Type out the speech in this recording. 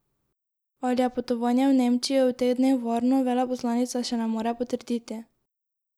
Ali je potovanje v Nemčijo v teh dneh varno, veleposlanica še ne more potrditi.